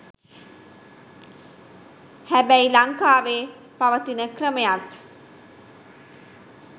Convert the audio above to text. හැබැයි ලංකාවේ පවතින ක්‍රමයත්